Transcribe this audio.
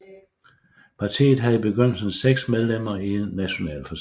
Partiet havde i begyndelsen seks medlemmer i Nationalforsamlingen